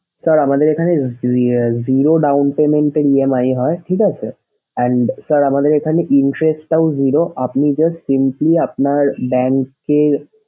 sir আমাদের এখানে ze zero down payment এ EMI হয় ঠিক আছে sir and sir আমাদের এখানে interest টাও zero আপনি just simply আপনার bank এ,